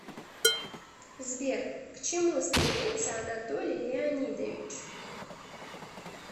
сбер к чему стремится анатолий леонидович